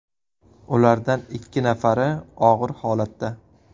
Ulardan ikki nafari og‘ir holatda.